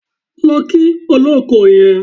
Lọ kí olóko yẹn.